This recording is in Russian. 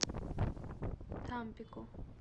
тампико